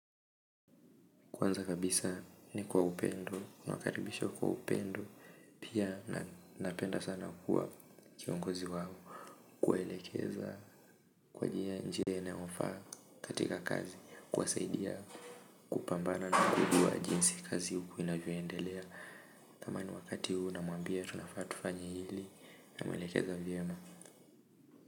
Kwanza kabisa ni kwa upendo, nawakaribisha kwa upendo, pia na napenda sana kuwa kiongozi wao, kuwaelekeza kwa njia inayofaa katika kazi, kuwasaidia kupambana na kujua jinsi kazi huku inavyoendelea. Tamani wakati huu namwambia tunafaa tufanye hili namwelekeza vyema.